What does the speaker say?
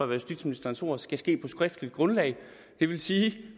var justitsministerens ord skal ske på skriftligt grundlag det vil sige